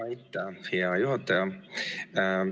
Aitäh, hea juhataja!